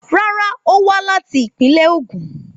Rárá, ó wá láti ìpínlẹ̀ Ogun